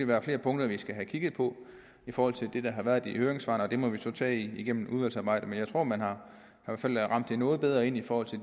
være flere punkter vi skal have kigget på i forhold til det der har været i høringssvarene og det må vi så tage igennem udvalgsarbejdet men jeg tror man har ramt noget bedre ind i forhold til